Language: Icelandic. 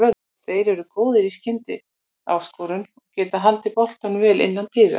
Þeir eru góðir í skyndisóknum og getað haldið boltanum vel innan liðsins.